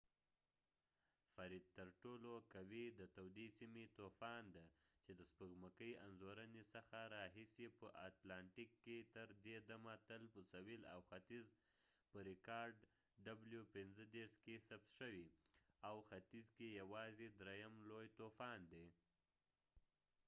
فریډ ترټولو قوي د تودې سيمې طوفان دی چې د سپوږمکۍ انځورنې څخه راهیسې په اتلانټیک کې تر دې دمه تل په سویل او ختیځ کې ثبت شوی، او د ختیځ °w۳۵ په ریکارډ کې یوازې دریم لوی طوفان دی